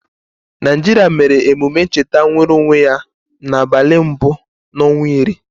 Naịjịrịa mere ememe ncheta nwereonwe ya n'abalị mbụ n'ọnwa iri.